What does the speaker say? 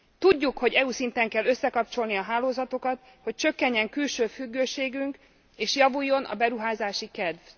Tudjuk, hogy EU szinten kell összekapcsolni a hálózatokat, hogy csökkenjen külső függőségünk és javuljon a beruházási kedv.